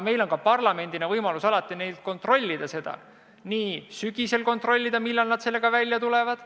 Meil on parlamendina võimalik seda alati ka kontrollida – sügisel kontrollida, millal nad sellega välja tulevad.